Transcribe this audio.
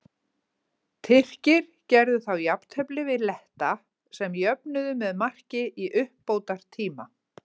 Tyrkir gerðu þá jafntefli við Letta sem jöfnuðu með marki í uppbótartíma.